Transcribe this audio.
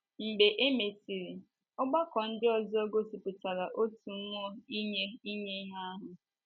Mgbe e mesịrị, ọgbakọ ndị ọzọ gosipụtara otu mmụọ inye inye ihe ahụ.